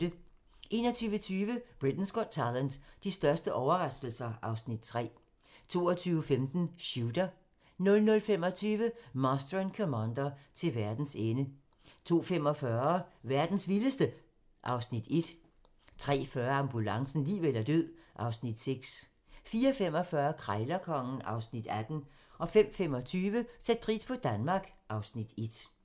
21:20: Britain's Got Talent - de største overraskelser (Afs. 3) 22:15: Shooter 00:25: Master and Commander: Til verdens ende 02:45: Verdens vildeste... (Afs. 1) 03:40: Ambulancen - liv eller død (Afs. 6) 04:45: Krejlerkongen (Afs. 18) 05:25: Sæt pris på Danmark (Afs. 1)